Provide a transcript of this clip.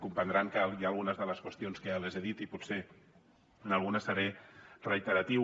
comprendran que hi ha algunes de les qüestions que ja les he dit i potser en alguna seré reiteratiu